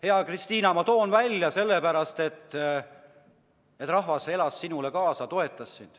Hea Kristina, ma toon need välja sellepärast, et rahvas elas sinule kaasa, toetas sind.